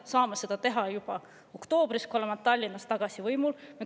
Me saame seda teha juba oktoobris, kui Tallinnas tagasi võimul oleme.